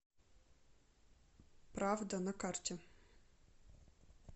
правда на карте